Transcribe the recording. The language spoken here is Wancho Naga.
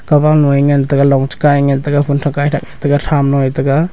kabam lo e ngantaga long cha ka ee ngantaga phunthak kaithak taga thamlo e taga.